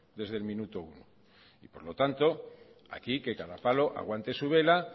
desde el minuto uno y por lo tanto aquí que cada palo aguante su vela